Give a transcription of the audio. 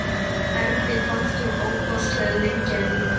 Erni fannst hún ofboðslega lengi að líða.